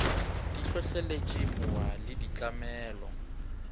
di hlohleletše mowa le ditlamelo